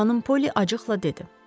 Xanım Poli acıqla dedi: